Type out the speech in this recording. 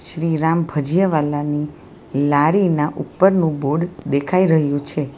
શ્રીરામ ભજીયાવાલાની લારીના ઉપરનું બોર્ડ દેખાય રહ્યું છે.